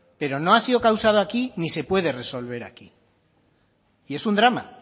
pero no ha sido causado aquí ni se puede resolver aquí y es un drama